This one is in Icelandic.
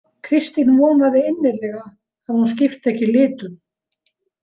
Kristín vonaði innilega að hún skipti ekki litum.